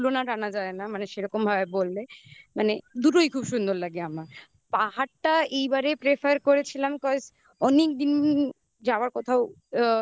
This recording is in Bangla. কোনটারই তুলনা টানা যায় না. মানে সেরকম ভাবে বললে মানে দুটোই খুব সুন্দর লাগে আমার পাহারটা এইবারে prefer করেছিলাম cause